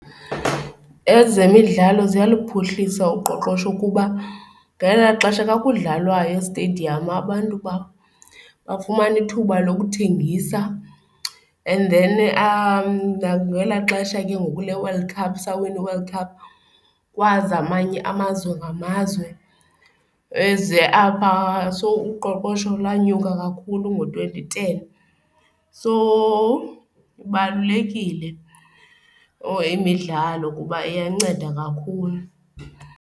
Ezemidlalo ziyaluphuhlisa uqoqosho kuba ngelaa xesha kwakudlalwa estediyamu abantu bafumana ithuba lokuthengisa and then nangelaa xesha ke ngoku leWorld Cup, sawina iWorld Cup, kwaza amanye amazwe ngamazwe eze apha, so uqoqosho lanyuka kakhulu ngo-twenty ten. So ibalulekile or imidlalo kuba iyanceda kakhulu.